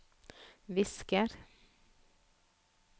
visker